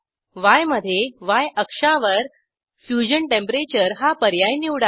Yमधे य अक्षावर fusion temperature हा पर्याय निवडा